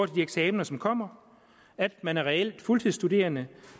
de eksaminer som kommer at man er reelt fuldtidsstuderende